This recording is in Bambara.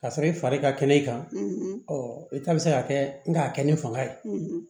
Ka sɔrɔ i fari ka kɛnɛ i kan i ta bɛ se ka kɛ n k'a kɛ ni fanga ye